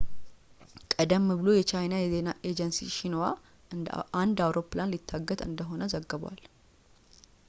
ቀደም ብሎ የቻይና የዜና ኤጀንሲ ሺንሁዋ አንድ አውሮፕላን ሊታገት እንደሆነ ዘግቧል